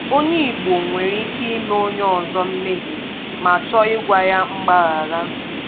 Onye Igbo nwere ike ị̀me onye ọzọ mmehie ma chọọ ịgwa ya mgbaghara.